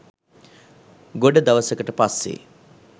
ගොඩ දවසකට පස්සේ